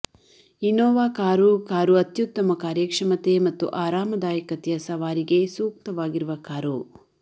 Innova car car ಅತ್ಯುತ್ತಮ ಕಾರ್ಯಕ್ಷಮತೆ ಮತ್ತು ಆರಾಮದಾಯಕತೆಯ ಸವಾರಿಗೆ ಸೂಕ್ತವಾಗಿರುವ ಕಾರು